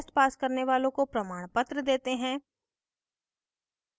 online test pass करने वालों को प्रमाणपत्र देते हैं